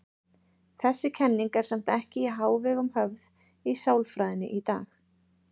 Þessi kenning er samt ekki í hávegum höfð í sálfræðinni í dag.